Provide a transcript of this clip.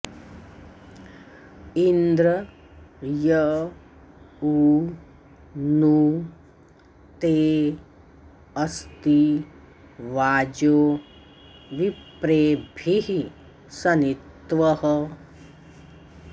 इन्द्र य उ नु ते अस्ति वाजो विप्रेभिः सनित्वः